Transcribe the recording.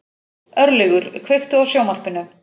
Örlygur, kveiktu á sjónvarpinu.